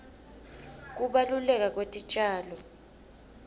kubaluleka kwetitjalo